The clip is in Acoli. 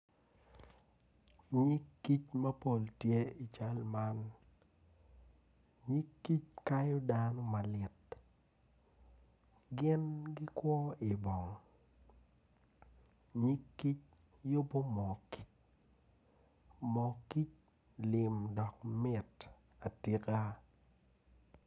Nyig kic man tye mapol man obuto piny kun puc man kala kome tye macol nicuc kun opero ite tye ka winyo jami. Puc man bene tye ka neno moo kic lim dok mit atika.